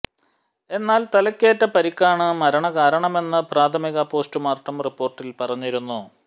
എന്നാൽ തലയ്ക്കേറ്റ പരിക്കാണ് മരണകാരണമെന്ന് പ്രാഥമിക പോസ്റ്റുമോർട്ടം റിപ്പോർട്ടിൽ പറഞ്ഞിരുന്നു